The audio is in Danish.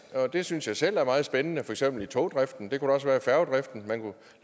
og det synes jeg selv er meget spændende for eksempel i togdriften og det kunne også være i færgedriften